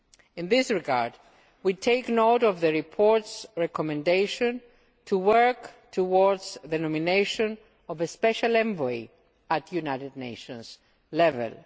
In this regard, we take note of the report's recommendation to work towards the nomination of a special envoy at United Nations level.